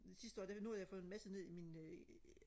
sidste år der nu har jeg fået en masse ned i min øh